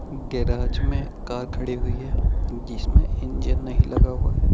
Garage में car खड़ी हुई है जिसमें इंजन नहीं लगा हुआ है।